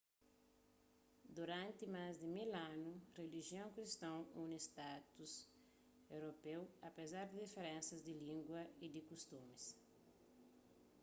duranti más di mil anu rilijion kriston uni stadus europeu apezar di diferensas di língua y di kustumis i